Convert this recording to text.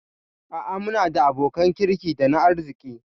A'a muna da abokan kirki dana arziki